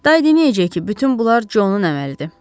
Day deməyəcək ki, bütün bunlar Conun əməlidir.